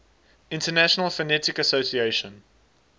international phonetic association